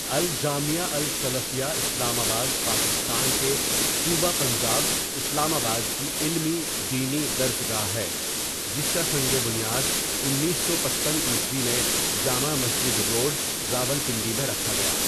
الجامعہ السلفیہ اسلام آباد پاکستان کے صوبہ پنجاب اسلام آباد کی علمی دینی درس گاہ ہے جس کا سنگِ بنیاد انیس سو پچپن عیسوی میں جامع مسجد روڈ راولپنڈی میں رکھا گیا.